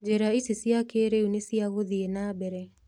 njĩra ici cia kĩrĩu na cia gũthie na mbere.